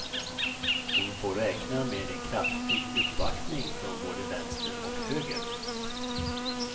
Hon får räkna med en kraftig uppvaktning från både vänster och höger.